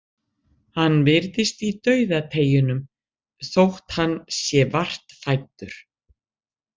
Hann virðist í dauðateygjunum, þótt hann sé vart fæddur.